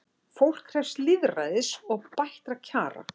Fólk krefst lýðræðis og bættra kjara